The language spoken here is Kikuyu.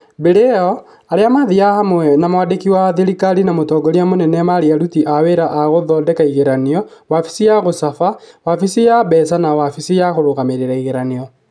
Mbere ĩyo, arĩa maathiaga hamwe na mwandĩki wa thirikari na mũtongoria mũnene marĩ aruti a wĩra a gũthondeka igeranio , wabici ya gũcaba, wabici ya mbeca na wabici ya kũrũgamĩrĩra igeranio.